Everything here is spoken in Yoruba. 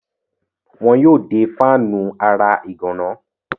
wọn yóò de fáànù ara ìgànná.